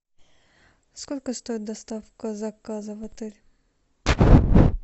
сколько стоит доставка заказа в отель